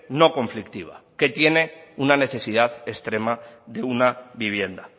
no conflictiva que tiene una necesidad extrema de una vivienda